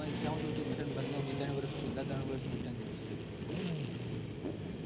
ઈચ્છા હોય તો તું return ભરી નાખજે છેલ્લા ત્રણ વર્ષ નું return જોઇશે.